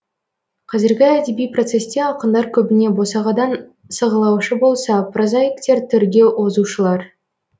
қазіргі әдеби процесте ақындар көбіне босағадан сығылаушы болса прозаиктер төрге озушылар